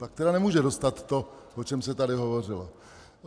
Pak tedy nemůže dostat to, o čem se tady hovořilo.